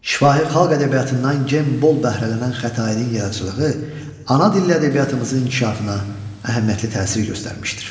Şifahi xalq ədəbiyyatından gen bol bəhrələnən Xətainin yaradıcılığı ana dildə ədəbiyyatımızın inkişafına əhəmiyyətli təsir göstərmişdir.